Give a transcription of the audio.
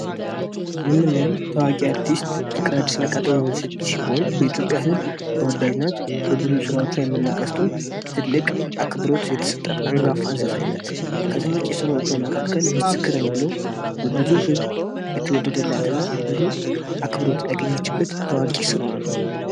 የምንየው ፍቅር አዲስን ሲሆን በኢትዮጵያዊያን ዘንድ በጣም ተወዳጅ ናት በብዙ ስራዎቿ የምናውቃት ሲሆን ጥሩ ተሰጥዖ የተሰጣት አንጋፋ ዘፋኝ ናት ከዚህሞችዋ መካከል ምስክር የሚለው በብዙ ዝብ የተወደደላት እና ብዙ አክብሮትን ያገኘችበት ስራዋ ነው።